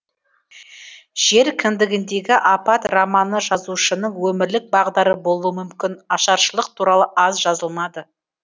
жер кіндігіндегі апат романы жазушының өмірлік бағдары болуы мүмкін ашаршылық туралы аз жазылмады